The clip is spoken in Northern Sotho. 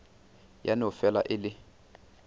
ya no fela e le